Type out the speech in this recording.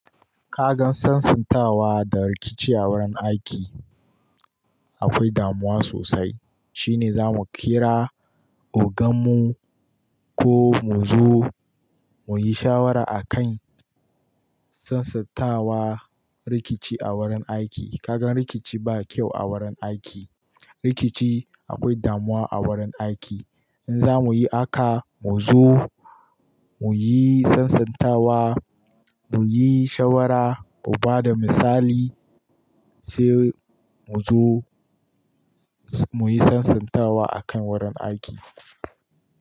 Ka gan sansantawa da rikici a wurin aiki akwai damuwa sosai. Shine zamu kira ogan mu ko mu zo muyi shawara a kan sansantawa rikici a wurin aiki. Ka gan rikici ba kyau a wurin aiki. Rikici akwai damuwa a wurin aiki. In za muyi haka, mu zo muyi sasantawa, muyi shawara, mu ba da misali sai mu zo muyi sansantawa a kan wurin aiki.